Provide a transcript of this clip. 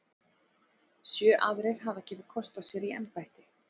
Sjö aðrir hafa gefið kost á sér í embættið.